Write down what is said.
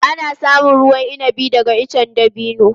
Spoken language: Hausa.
Ana samun ruwan inabi daga icen dabino.